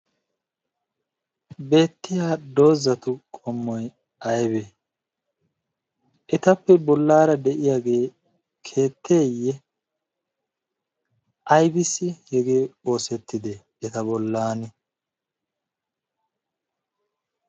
beettiya dozatu qommoy aybee ? etappe qomo bagaara de'iyagee keettee? aybbissi hegee oosetidee eta bolaani?